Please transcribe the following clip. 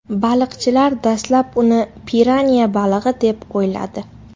Baliqchilar dastlab uni piranya balig‘i deb o‘yladi.